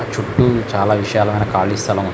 చుట్టూ చాలా విశాలమైన ఖాళీ స్థలం ఉంది.